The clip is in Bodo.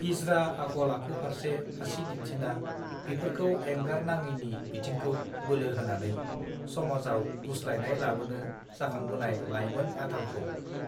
गिज्रा आखल आखु फार्से आसि दिन्थिना बिफोरखौ एंगार नांङैनि बिथिंखौ बोलो होनानै समाजाव गुस्लायनाय लाबोनो जाखांबोनाय लाइमेन आथालखौ